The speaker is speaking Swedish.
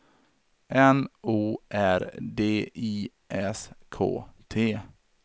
N O R D I S K T